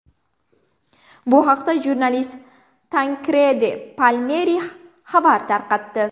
Bu haqda jurnalist Tankredi Palmeri xabar tarqatdi .